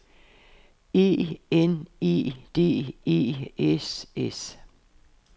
E N E D E S S